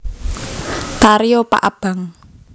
Tari opak abang